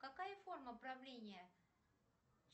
какая форма правления